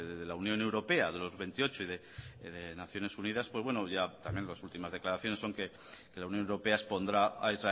de la unión europea de los veintiocho y de naciones unidas pues ya las últimas declaraciones son que la unión europea expondrá a